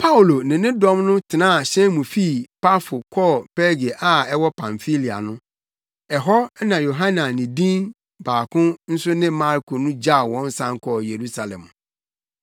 Paulo ne ne dɔm no tenaa hyɛn mu fii Pafo kɔɔ Perge a ɛwɔ Pamfilia no; ɛhɔ na Yohane a ne din baako nso ne Marko no gyaw wɔn san kɔɔ Yerusalem.